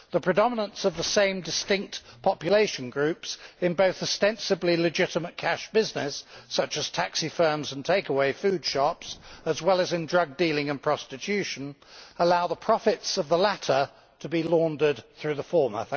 The predominance of the same distinct population groups both in ostensibly legitimate cash business such as taxi firms and take away food shops, and in drug dealing and prostitution, allows the profits of the latter to be laundered through the former.